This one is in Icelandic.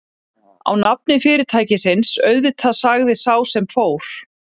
Á nafni fyrirtækisins, auðvitað sagði sá sem fór.